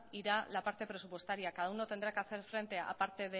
irá la parte presupuestaria cada uno tendrá que hacer frente a parte